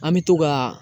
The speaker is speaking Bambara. An bɛ to ka